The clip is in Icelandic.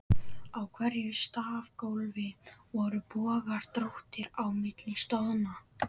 Í hverju stafgólfi voru bogar, dróttir, á milli stoðanna.